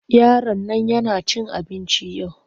Yaron nan yana cin abinci yau.